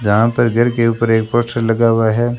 जहां पर घर के ऊपर एक पोस्टर लगा हुआ है।